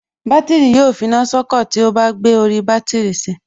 Bátìrì yóò finá sọ́kọ̀ tí ó bá gbé orí bátìrì si